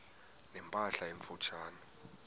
ne mpahla emfutshane